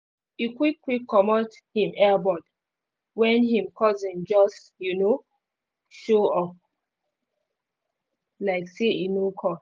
e quick quick comot him earbud when him cousin just um show um show up um like say e no call